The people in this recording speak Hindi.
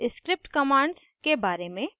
* script commands के बारे में